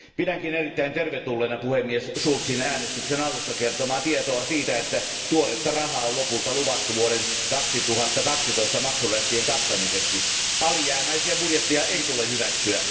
Pidänkin erittäin tervetulleena puhemies Schulzin äänestyksen alussa kertomaa tietoa siitä, että tuoretta rahaa on lopulta luvattu vuoden 2012 maksurästien kattamiseksi. Alijäämäisiä budjetteja ei tule hyväksyä.